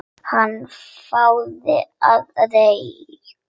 Hana, fáðu þér reyk